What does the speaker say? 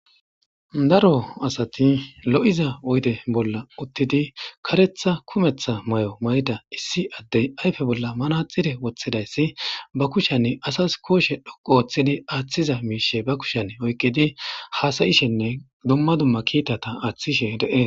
Daro asati lo'iza oyde bolla uttidi karetha kumetha may'o may'da issi addey ayfe bolla mana xide woththidayssi ba kushanne asas kooshe dhoqo ooththidi aaththiza miishe ba kushen oyqidi haasayishenne dumma dumma kiitata aaththishe de'e.